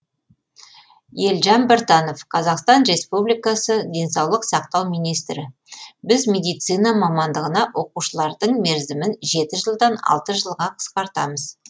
елжан біртанов қазақстан республикасы денсаулық сақтау министрі біз медицина мамандығына оқушылардың мерзімін жеті жылдан алты жылға қысқартамыз